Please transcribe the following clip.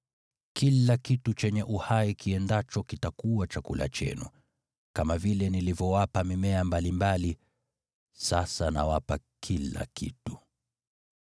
Kila kitu chenye uhai kiendacho kitakuwa chakula chenu. Kama vile nilivyowapa mimea mbalimbali, sasa nawapa kila kitu.